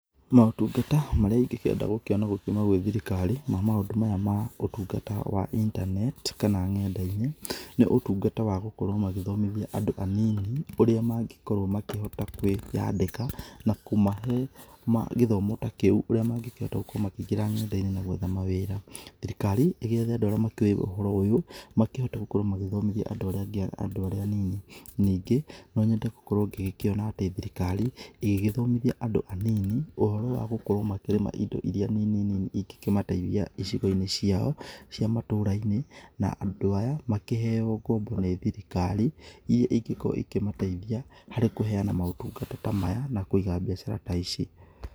Maũtungata marĩa ingĩkienda gũkĩona gũkiuma gwĩ thirikari ma maũndũ maya ma ũtungata wa intaneti kana ng'enda-inĩ nĩ ũtungata wa gũkorwo magĩthomithia andũ anini ũrĩa magĩkorwo makĩhota kwĩyandĩka na kũmahe gĩthomo ta kĩa ũrĩa mangĩhota gũkorwo makĩingĩra ng'enda-inĩ kwetha ma wĩra. Thirikari igĩethe andũ arĩa makĩũi ũhoro ũyũ makĩhote gukorwo magĩthomithia andũ arĩa anini. Ningĩ no nyende gũkorwo ngĩkĩona atĩ thirikari ĩgĩgĩthomithia andũ anini ũhoro wa gukorwo makĩrĩma indo iria nini nini ingĩkĩmateithia icigo-inĩ ciao cia matũra-inĩ na andũ aya makĩheyo ngombo nĩ thirikari irĩa ĩngĩkorwo ĩkĩmateithia harĩ kũheyana motungata maya na kũiga biacara ta ici.